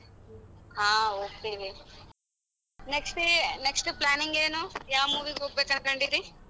ಹಾ ಹೋಗ್ತಿವಿ next ಏ next planning ಏನು ಯಾವ್ movie ಗ್ ಹೋಗ್ಬೇಕು ಅನ್ಕೊಂಡಿದ್ದಿ.